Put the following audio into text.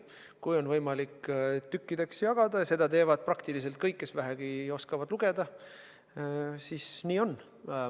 Kui on võimalik tükkideks jagada – ja seda teevad peaaegu kõik, kes vähegi oskavad lugeda –, siis nii on.